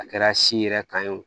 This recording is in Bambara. A kɛra si yɛrɛ kan ye o